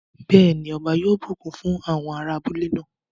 Bẹ́ẹ̀ ni, ọba yóò bùkún fún àwọn ará abúlé náà.